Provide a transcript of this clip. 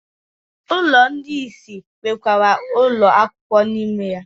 Ụlọ ndị isi nwekwara ụlọ akwụkwọ n'ime ya.